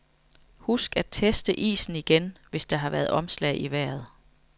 Husk at teste isen igen, hvis der har været omslag i vejret.